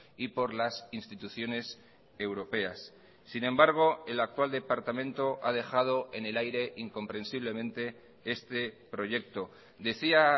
y por las instituciones europeas sin embargo el actual departamento ha dejado en el aire incomprensiblemente este proyecto decía